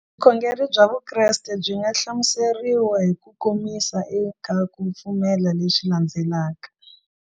Vukhongeri bya Vukreste byi nga hlamuseriwa hi ku komisa eka ku pfumela leswi landzelaka.